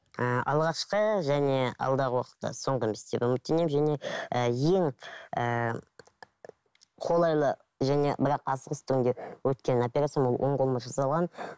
ыыы алғашқы және алдағы уақытта соңғы емес деп үміттенемін және і ең ііі қолайлы және бірақ асығыс түрінде өткен операциям ол оң қолыма жасалған